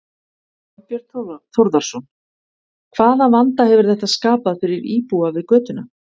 Þorbjörn Þórðarson: Hvaða vanda hefur þetta skapað fyrir íbúa við götuna?